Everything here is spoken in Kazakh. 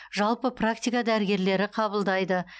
жалпы практика дәрігерлері қабылдайды